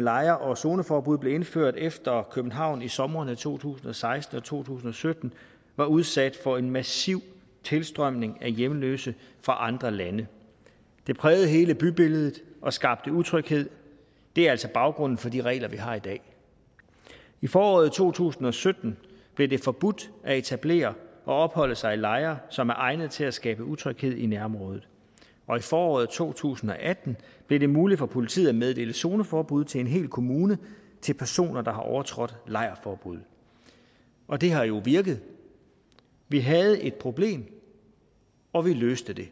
lejre og zoneforbud blev indført efter at københavn i somrene to tusind og seksten og to tusind og sytten var udsat for en massiv tilstrømning af hjemløse fra andre lande det prægede hele bybilledet og skabte utryghed det er altså baggrunden for de regler vi har i dag i foråret to tusind og sytten blev det forbudt at etablere og opholde sig i lejre som er egnet til at skabe utryghed i nærområdet og i foråret to tusind og atten blev det muligt for politiet at meddele zoneforbud til en hel kommune til personer der har overtrådt lejrforbuddet og det har jo virket vi havde et problem og vi løste det